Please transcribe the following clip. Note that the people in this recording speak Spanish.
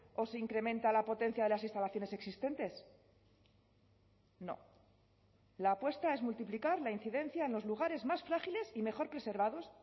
o se incrementa la potencia de las instalaciones existentes no la apuesta es multiplicar la incidencia en los lugares más frágiles y mejor preservados